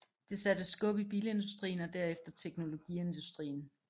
Det satte skub i bilindustrien og derefter teknologiindustrien